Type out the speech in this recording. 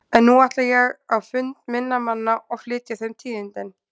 En nú ætla ég á fund minna manna og flytja þeim tíðindin.